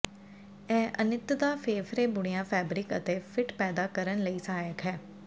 ਇਹ ਅਨਿੱਤਤਾ ਫੇਫੜੇ ਬੁਣਿਆ ਫੈਬਰਿਕ ਅਤੇ ਫਿੱਟ ਪੈਦਾ ਕਰਨ ਲਈ ਸਹਾਇਕ ਹੈ